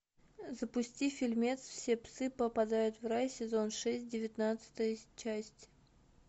запусти фильмец все псы попадают в рай сезон шесть девятнадцатая часть